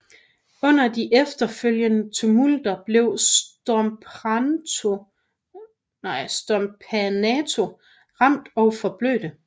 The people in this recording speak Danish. Under de efterfølgende tumulter blev Stompanato ramt og forblødte